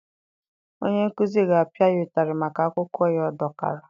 Onye nkuzi ga-apịa ya ụtarị maka akwụkwọ ya ọ dọkara.